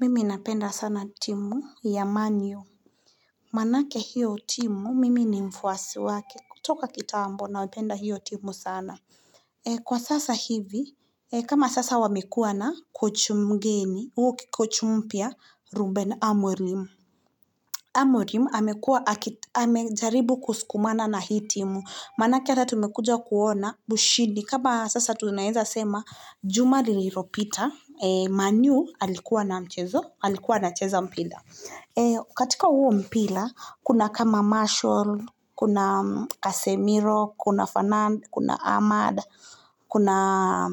Mimi napenda sana timu yamanyo Manake hiyo timu mimi ni mfuasi wake kutoka kitambo na wapenda hiyo timu sana Kwa sasa hivi kama sasa wamekua na kochi mgeni au kochi mpya ruben amurim Amurim amekua amejaribu kusukumana na hii timu manake hata tumekuja kuona Bushidi, kaba sasa tu naeza sema Juma liliropita Man u alikuwa na mchezo Alikuwa na cheza mpira katika huo mpira Kuna kama Marshall Kuna Kasemiro Kuna Fanand, kuna Ahmad Kuna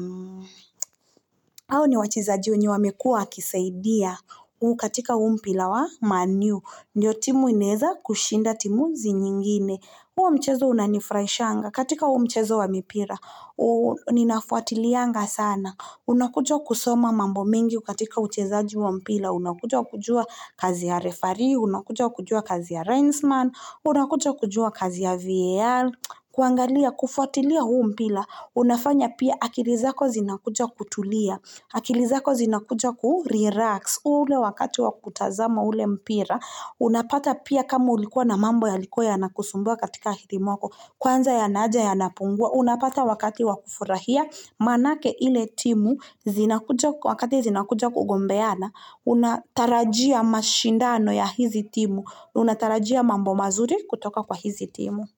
Aho ni wachiza jiwenye wamekua Kisaidia, ukatika huo mpira wa man u, ndio timu ineza kushinda timuzi nyingine huo mchezo unanifraishanga katika huo mchezo wa mpila Ninafuatilianga sana Unakuja kusoma mambo mengi katika uchezaji wa mpira Unakuja kujua kazi ya referee, unakuja kujua kazi ya renzman Unakujo kujua kazi ya VAL kuangalia kufuatiliya huu mpira, unafanya pia akili zako zinakuja kutulia akili zako zinakujo ku-relax ule wakati wakutazama ule mpira unapata pia kama ulikuwa na mambo ya likuwa ya nakusumbwa katika hiti mwako Kwanza ya naaja ya nayapungua. Unapata wakati wakufurahia manake ile timu wakati zinakuja kugombeana Unatarajia mashindano ya hizi timu Unatarajia mambo mazuri kutoka kwa hizi timu.